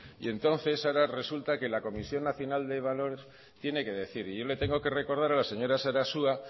y entonces ahora resulta que la comisión nacional de valores tiene que decir y yo le tengo que recordar a la señora sarasua